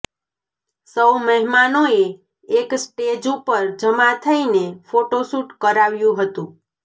સૌ મહેમાનોએ એક સ્ટેજ ઉપર જમા થઈને ફોટોશૂટ કરાવ્યુ હતું